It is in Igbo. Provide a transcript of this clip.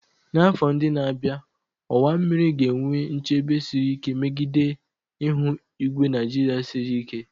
N'afọ ndị na-abịa, ọwa mmiri ga-enwe nchebe siri ike megide ihu igwe Nigeria siri ike.